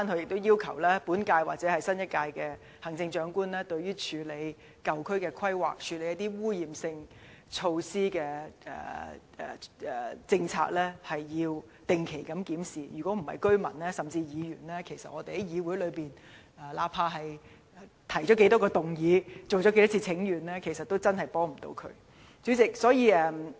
我亦要求本屆或新一屆行政長官定期檢視處理舊區規劃、污染性措施的政策，否則無論當區居民進行多少次請願，甚或議員在議會提出多少項議案，也無法提供任何實質幫助。